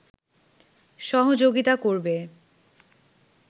সহযোগিতা করবে